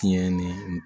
Tiɲɛ ni